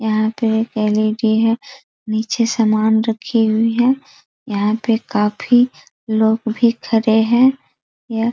यहाँ पे एक एल.ई.डी. है | नीचे सामान रखी हुई है | यहाँ पे काफी लोग भी खड़े हैं | यहाँ --